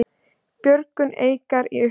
Björgun Eikar í uppnámi